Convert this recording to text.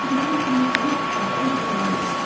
এটিতে তিনটি কাপড়ের দোকান রয়েছে।